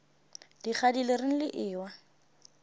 dikgadi le reng le ewa